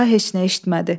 Daha heç nə eşitmədi.